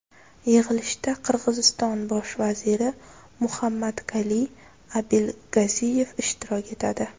Yig‘ilishda Qirg‘iziston bosh vaziri Muhammadkaliy Abilgaziyev ishtirok etadi.